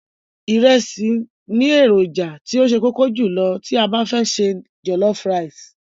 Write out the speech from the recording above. Ìrẹsì ni èròjà tí ó ṣe kókó jùlọ tí a bá fẹ́ se jọ̀lọ́fú raìsì.